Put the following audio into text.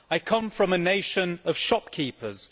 I come from a nation of shopkeepers.